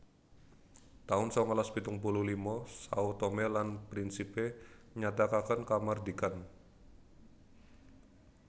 taun sangalas pitung puluh lima Sao Tome lan Principe nyatakaken kamardikan